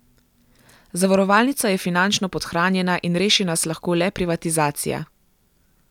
Zavarovalnica je finančno podhranjena in reši nas lahko le privatizacija.